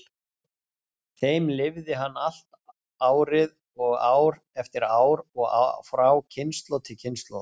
þeim lifði hann allt árið og ár eftir ár og frá kynslóð til kynslóðar.